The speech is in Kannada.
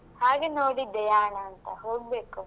ಹಾಗೆ ನೋಡಿದ್ದೆ ಯಾಣ ಅಂತ ಹೋಗ್ಬೇಕು.